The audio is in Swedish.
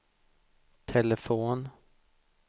telefon